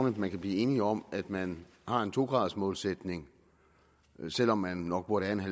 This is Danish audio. at man kan blive enig om at man har en to graders målsætning selv om man nok burde have